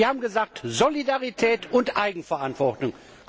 Wir haben gesagt Solidarität und Eigenverantwortung.